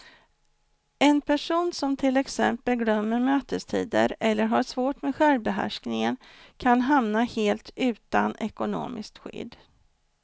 En person som till exempel glömmer mötestider eller har svårt med självbehärskningen kan hamna helt utan ekonomiskt skydd.